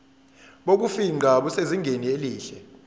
bokufingqa busezingeni elihle